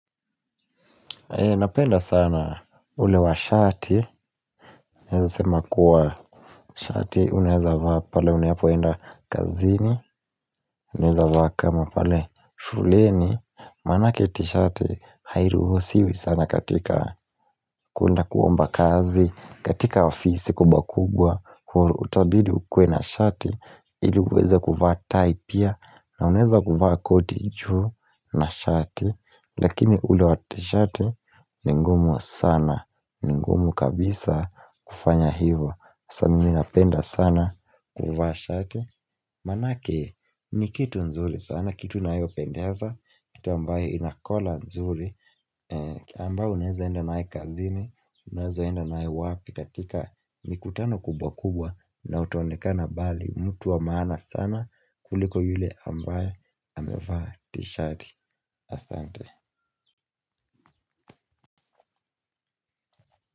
Napenda sana ule wa shati, naeza sema kuwa shati, unaeza vaa pale unapoenda kazini, unaeza vaa kama pale shuleni, maanake tishati, hairuhusiwi sana katika kuenda kuomba kazi, katika ofisi kubwa kubwa, utabidi ukuwe na shati, ili uweza kuvaa tai pia, na unaeza kuvaa koti juu na shati, Lakini ule wa tishati ni ngumu sana ni ngumu kabisa kufanya hivo sasa mimi napenda sana kuvaa shati Maanake ni kitu nzuri sana kitu inayopendeza kitu ambaye ina collar nzuri ambayo unaeza enda nae kazini Unaeza enda nayo wapi katika mikutano kubwa kubwa na utaonekana bali mtu wa maana sana kuliko yule ambaye amevaa tishati Asante.